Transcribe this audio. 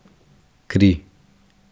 Kri.